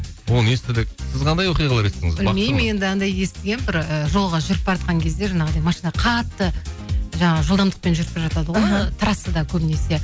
оны естідік сіз қандай оқиғалары естідіңіз білмеймін енді анандай естігенмін бір і жолға жүріп баратқан кезде жанағыдай машина қатты жаңа жылдамдықпен жүріп бара жатады ғой трассада көбінесе